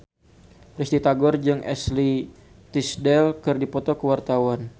Risty Tagor jeung Ashley Tisdale keur dipoto ku wartawan